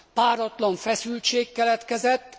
páratlan feszültség keletkezett.